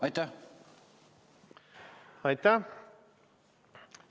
Aitäh!